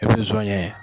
I bi son ɲɛ